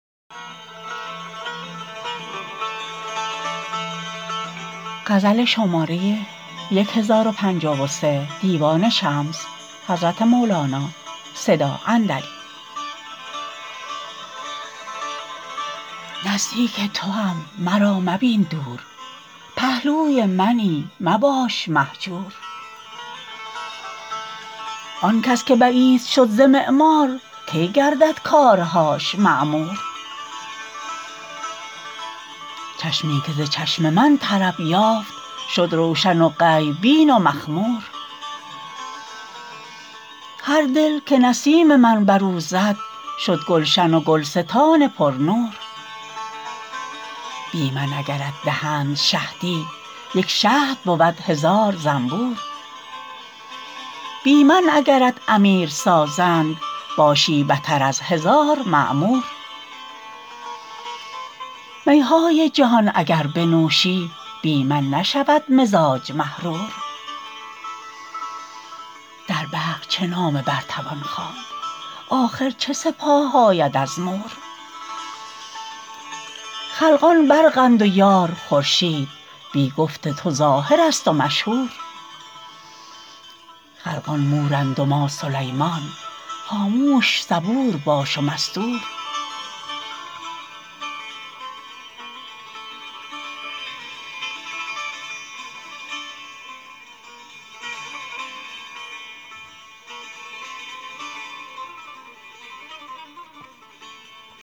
نزدیک توام مرا مبین دور پهلوی منی مباش مهجور آن کس که بعید شد ز معمار کی گردد کارهاش معمور چشمی که ز چشم من طرب یافت شد روشن و غیب بین و مخمور هر دل که نسیم من بر او زد شد گلشن و گلستان پرنور بی من اگرت دهند شهدی یک شهد بود هزار زنبور بی من اگرت امیر سازند باشی بتر از هزار مأمور می های جهان اگر بنوشی بی من نشود مزاج محرور در برق چه نامه بر توان خواند آخر چه سپاه آید از مور خلقان برقند و یار خورشید بی گفت تو ظاهرست و مشهور خلقان مورند و ما سلیمان خاموش صبور باش و مستور